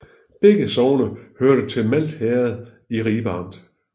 Begge sogne hørte til Malt Herred i Ribe Amt